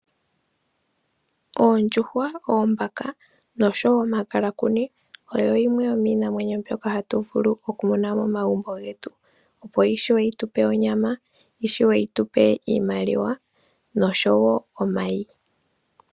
Oondjuhwa, oombaka, noshowo omakalakuni, oyo yimwe yomiinamwenyo mbyoka hatu vulu oku mona momagumbo getu, opo yi shuwe yi tupe onyama, yi shuwe yi tupe iimaliwa, noshowo omayi.